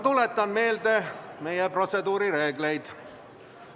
Tuletan meelde meie protseduurireegleid.